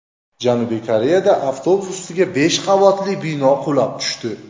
Janubiy Koreyada avtobus ustiga besh qavatli bino qulab tushdi.